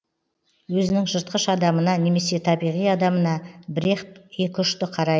өзінің жыртқыш адамына немесе табиғи адамына брехт екіұшты қарай